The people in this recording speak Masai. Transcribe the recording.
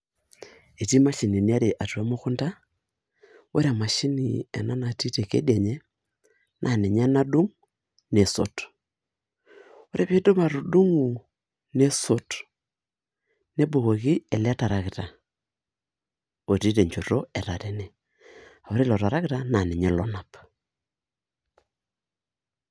Etii mashinini are emukunta , ore emashini ena natii tekedianye naa ninye nadung , nesot . Ore piidip atudungo , nesot nebukoki ele tarakita otii tenchoto etatene , aa ore ilo tarakita naa ninye lonap .